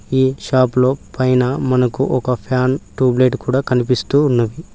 ఈ షాప్ లో పైన మనకు ఒక ఫ్యాన్ ట్యూబ్ లైట్ కూడా కనిపిస్తూ ఉన్నది.